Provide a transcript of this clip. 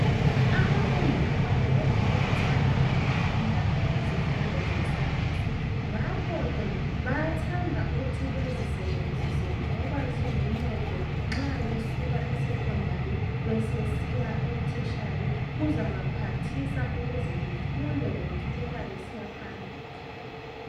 Abafundi abanengi bayathanda ukufunda, izifundo zeScience. Ngakho ke bathanda ukuthi bezisebenzise ngoba ziluncedo. Nxa besuka esecondary, besesiya etertiary. Kuzabaphathisa, ukuze befunde, beqhubeka besiya phambili.